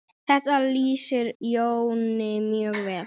Þetta lýsir Jóni mjög vel.